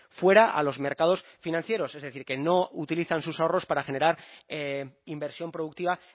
fuera a los mercados financieros es decir que no utilizan sus ahorros para generar inversión productiva